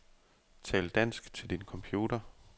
Tal dansk til din computer.